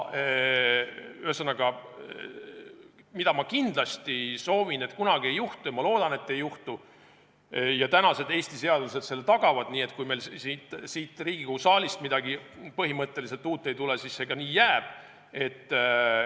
Ühesõnaga, mida ma kindlasti soovin, et kunagi ei juhtuks – ja ma loodan, et ei juhtu, sest Eesti seadused selle tagavad –, on see, et kui meil siit Riigikogu saalist midagi põhimõtteliselt uut ei tule, siis see ka nii jääb.